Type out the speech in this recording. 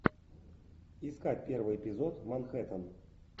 искать первый эпизод манхэттен